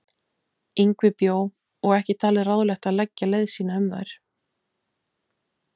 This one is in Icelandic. Yngvi bjó og ekki talið ráðlegt að leggja leið sína um þær.